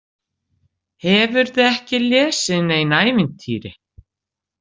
Hefurðu ekki lesið nein ævintýri?